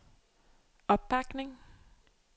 opbakning